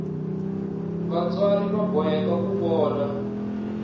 vatswari va boheka ku vona